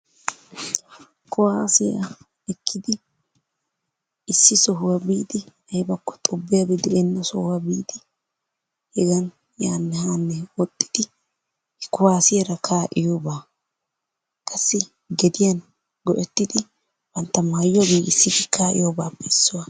Kuwaasiya ekkidi issi sohuwa biidi woykko xubbiyabbi de'ena sohuwa biidi hegan yaanne haanne woxxidi kuwaassiyaara kaa'iyoba qassi gediyan go"ettidi bantta maayuwa giggissidi kaaiyobappe issuwa.